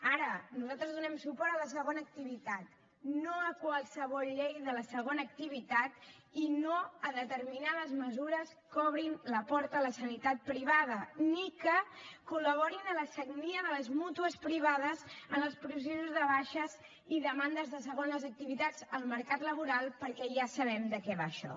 ara nosaltres donem suport a la segona activitat no a qualsevol llei de la segona activitat i no a determinades mesures que obrin la porta a la sanitat privada ni que col·laborin en la sagnia de les mútues privades en els processos de baixes i demandes de segones activitats al mercat laboral perquè ja sabem de què va això